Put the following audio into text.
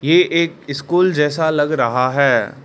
ये एक स्कूल जैसा लग रहा है।